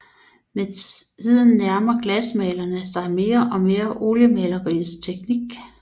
Med tiden nærmer glasmalerne sig mere og mere oliemaleriets teknik